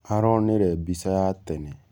Aronĩre mbĩca ya tene.